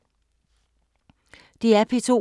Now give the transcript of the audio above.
DR P2